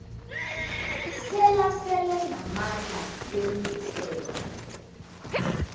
selasele namandla wemithetho